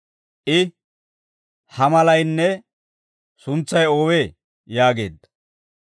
I, «Ha malaynne suntsay oowee?» yaageedda.